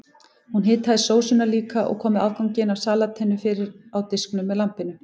Hún hitaði sósuna líka og kom afganginum af salatinu fyrir á diskunum með lambinu.